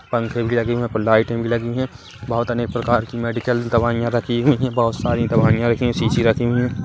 पंखे भी लगे हुए है लाइटे भी लगे हुए है बोहोत अनेक प्रकार की मेडिकल दवाईया रखी हुए है बोहोत सारी दवाईया रखी सीसी रखी हुई है।